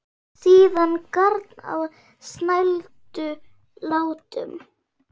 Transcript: Síðan garn á snældu látum.